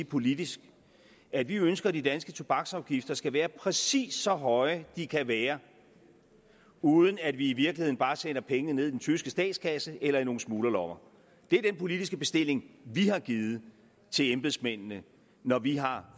politisk at vi ønsker at de danske tobaksafgifter skal være præcis så høje de kan være uden at vi i virkeligheden bare sender pengene ned i den tyske statskasse eller i nogle smuglerlommer det er den politiske bestilling vi har givet til embedsmændene når vi har